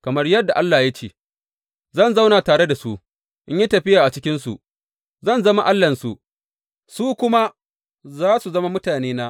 Kamar yadda Allah ya ce, Zan zauna tare da su, in yi tafiya a cikinsu, zan zama Allahnsu, su kuma za su zama mutanena.